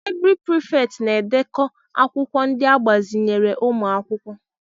Laịbrị Prịfèkt na-edekọ akwụkwọ ndị agbazinyere ụmụ akwụkwọ.